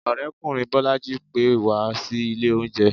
orekunrin bolají pè wa sí ìlè oúnje.